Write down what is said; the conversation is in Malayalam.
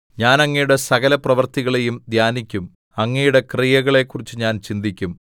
ഞാൻ അങ്ങയുടെ സകലപ്രവൃത്തികളെയും ധ്യാനിക്കും അങ്ങയുടെ ക്രിയകളെക്കുറിച്ച് ഞാൻ ചിന്തിക്കും